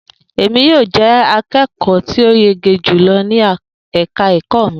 E mi ni yóò jẹ akẹkọ ti o yege julọ ni ẹka ẹkọ mi